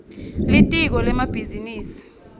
litiko lemabhizinisi